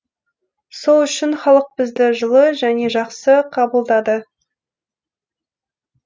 сол үшін халық бізді жылы және жақсы қабылдады